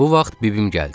Bu vaxt bibim gəldi.